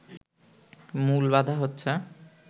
মূল বাধা হচ্ছে